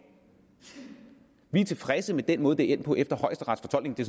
vi er tilfredse med den måde det er endt på efter højesterets fortolkning det